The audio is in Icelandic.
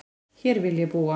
Hér vil ég búa